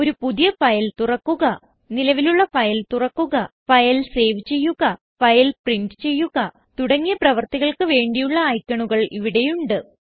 ഒരു പുതിയ ഫയൽ തുറക്കുക നിലവിലുള്ള ഫയൽ തുറക്കുക ഫയൽ സേവ് ചെയ്യുക ഫയൽ പ്രിന്റ് ചെയ്യുക തുടങ്ങിയ പ്രവർത്തികൾക്ക് വേണ്ടിയുള്ള ഐക്കണുകൾ ഇവിടെയുണ്ട്